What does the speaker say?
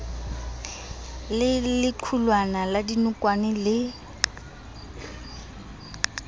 le lequlwana la dinokwane le